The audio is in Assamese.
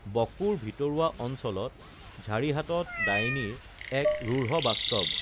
বকোৰ ভিতৰুৱা অঞ্চলত ঝাৰিহাটত ডাইনী এক ৰুঢ় বাস্তৱ